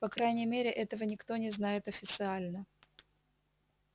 по крайней мере этого никто не знает официально